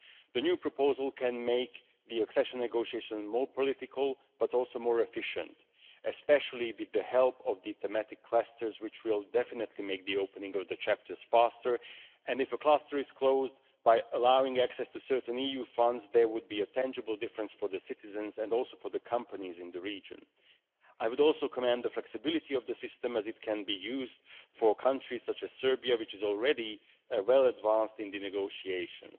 The new proposal can make the accession negotiations more political but also more efficient, especially with the help of the thematic clusters, which will definitely make the opening of chapters faster, and if a cluster is closed, by allowing access to certain EU funds, there would be a tangible difference for the citizens and also for the companies in the region. I would also commend the flexibility of the system, as it can be used for countries such as Serbia, which is already well advanced in the negotiations.